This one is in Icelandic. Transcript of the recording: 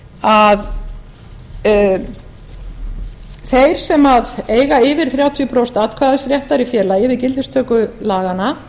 að þeir sem eiga yfir þrjátíu prósent atkvæðisréttar í félagi við gildistöku laganna